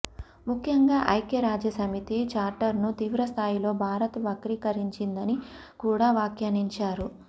ముఖ్యంగా ఐక్య రాజ్య సమితి చార్టర్ను తీవ్రస్థాయిలో భారత్ వక్రీకరించిందని కూడా వ్యాఖ్యానించారు